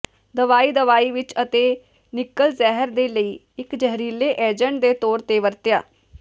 ਦਵਾਈ ਦਵਾਈ ਵਿਚ ਅਤੇ ਨਿੱਕਲ ਜ਼ਹਿਰ ਦੇ ਲਈ ਇੱਕ ਜ਼ਹਿਰੀਲੇ ਏਜੰਟ ਦੇ ਤੌਰ ਤੇ ਵਰਤਿਆ